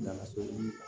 Nana so